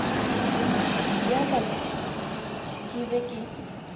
ya ka ke be ke